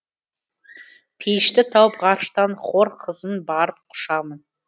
пейішті тауып ғарыштан хор қызын барып құшамын